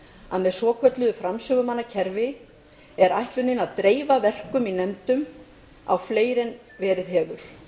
að með svokölluðu framsögumanna kerfi er ætlunin að dreifa verkum í nefndum á fleiri en verið hefur